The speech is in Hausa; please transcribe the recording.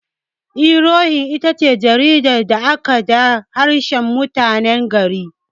Iwe irohin itace jaridar farko da aka da harshen mutanen gari.